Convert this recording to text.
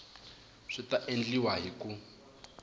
swi ta endliwa hi ku